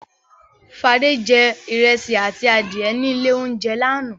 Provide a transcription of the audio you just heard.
Fadé jẹ ìrẹsì àti adìẹ ní ilé-oúnjẹ lánàá.